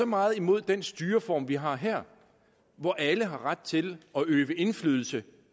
meget imod den styreform vi har her hvor alle har ret til at øve indflydelse